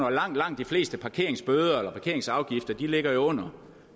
og langt langt de fleste parkeringsbøder eller parkeringsafgifter ligger jo under